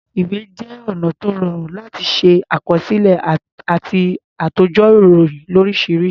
Ìwé jẹ́ ọ̀nà tó rọrùn láti ṣàkọsílẹ̀ àti àtòjọ ìròyìn lóríṣiríṣi.